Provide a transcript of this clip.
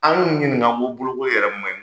An y'u yinika ko bolokoli ma ɲin.